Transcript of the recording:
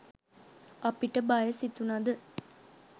අපිට බය සිතුනද